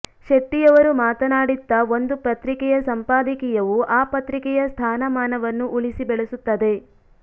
ಶೆಟ್ಟಿ ಅವರು ಮಾತನಾಡಿತ್ತಾ ಒಂದು ಪತ್ರಿಕೆಯ ಸಂಪಾದಕೀಯವು ಆ ಪತ್ರಿಕೆಯ ಸ್ಥಾನಮಾನವನ್ನು ಉಳಿಸಿ ಬೆಳೆಸುತ್ತದೆ